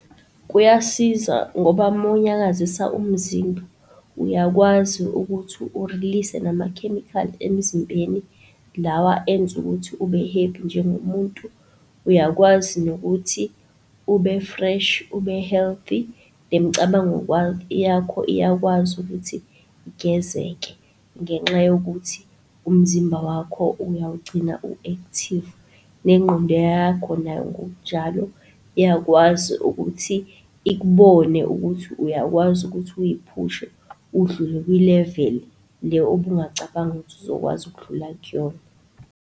Kuyasiza ngoba uma unyakazisa umzimba uyakwazi ukuthi u-release-e namakhemikhali emzimbeni lawa enza ukuthi ube-happy njengomuntu. Uyakwazi nokuthi ube-fresh, ube-healthy nemicabango yakho iyakwazi ukuthi igezeke ngenxa yokuthi umzimba wakho uyawugcina u-active, nengqondo yakho nayo ngokunjalo iyakwazi ukuthi ikubone ukuthi uyakwazi ukuthi uyiphushe udlule kwi-level le obungacabangi ukuthi uzokwazi ukudlula kuyona.